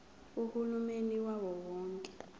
uhulumeni wawo wonke